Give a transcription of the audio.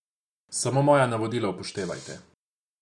Samo moja navodila upoštevajte.